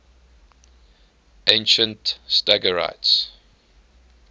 ancient stagirites